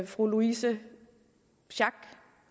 fru louise schack